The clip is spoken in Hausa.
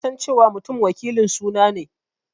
Na san cewa Mutum wakilin suna ne.